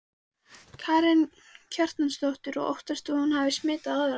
Karen Kjartansdóttir: Og óttastu að hún hafi smitað aðra?